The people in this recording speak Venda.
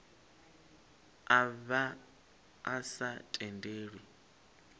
a vha a sa tendelwi